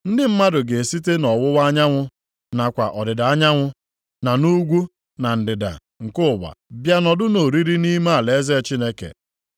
Ndị mmadụ ga-esite nʼọwụwa anyanwụ, nakwa ọdịda anyanwụ, na nʼugwu na ndịda nke ụwa bịa nọdụ nʼoriri nʼime alaeze Chineke.